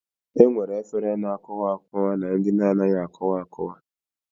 E nwere efere na-akụwa akụwa na ndị na-anaghị akụwa akụwa